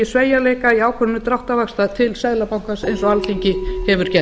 sveigjanleika í ákvörðun dráttarvaxta til seðlabankans eins og alþingi hefur gert